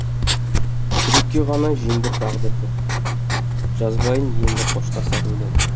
жүрекке ғана жеңдір тағдырды жазбайын енді қоштасар өлең